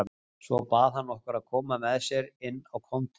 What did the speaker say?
Svo bað hann okkur að koma með sér inn á kontór.